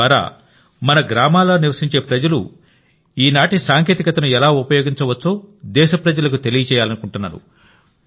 తద్వారా మన గ్రామాల్లో నివసించే ప్రజలు నేటి సాంకేతికతను ఎలా ఉపయోగించవచ్చోదేశప్రజలకు తెలియజేయాలనుకుంటున్నాను